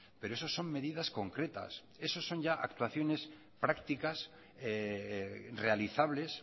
pero eso son medidas concretas eso son ya actuaciones prácticas realizables